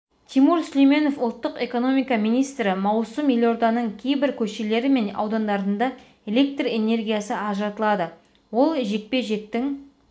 тимур сүлейменов ұлттық экономика министрі маусым елорданың кейбір көшелері мен аудандарында электр энергиясы ажыратылады ол жекпе-жектің